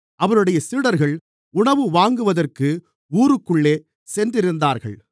அவருடைய சீடர்கள் உணவு வாங்குவதற்கு ஊருக்குள்ளே சென்றிருந்தார்கள்